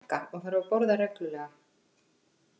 Nei, ég er að stækka og þarf að borða reglulega.